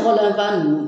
Bɔgɔdagabana ninnu